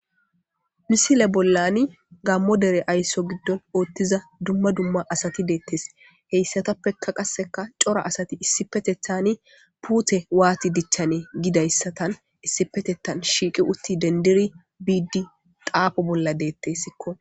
Misile bollani gammo dere aysso giddon ooththiza dumma dumma asati deettes heyssatappeka qasseka cora asati issipetethani puute waati dichchanee gidayssatan issipetetan shiiqi utti dendiri biidi qaafo bolla deettessikko.